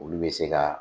Olu bɛ se ka